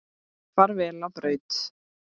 Far vel á braut.